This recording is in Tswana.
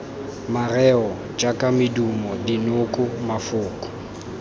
mareo jaaka medumo dinoko mafoko